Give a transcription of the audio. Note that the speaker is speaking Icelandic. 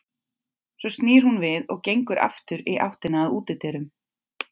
Svo snýr hún við og gengur aftur í áttina að útidyrum.